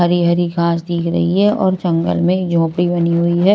हरी हरी घास दिख रही है और जंगल में झोपड़ी बनी हुई है।